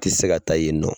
Ti se ka taa yen nɔ